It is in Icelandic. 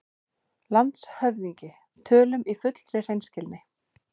LANDSHÖFÐINGI: Tölum í fullri hreinskilni